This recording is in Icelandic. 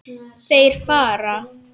Þeir fara.